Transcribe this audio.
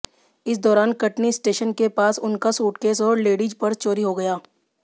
इस दौरान कटनी स्टेशन के पास उनका सूटकेस और लेडीज पर्स चोरी हो गया